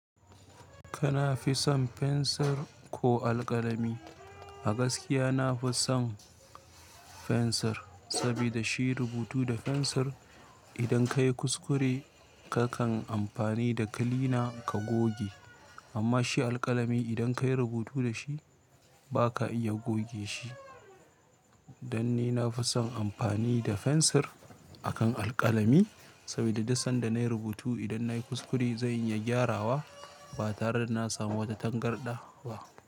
Kana fi son fensir ko alƙalami? A gaskiya na fi son fensir, sabida shi rubutu da fensir idan ka yi kuskure kakan amfani da kilina ka goge. Amma shi alƙalami idan ka yi rubutu da shi ba ka iya goge shi. Dan ni na fi son amfani da fensir akan alƙalami, sabida duk sanda na yi rubutu idan na yi kuskure zan iya gyarawa ba tare da na samu wata tangarɗa ba.